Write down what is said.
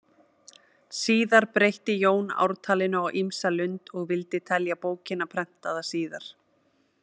Síðar breytti Jón ártalinu á ýmsa lund og vildi telja bókina prentaða síðar.